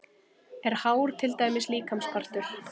Er hár til dæmis líkamspartur?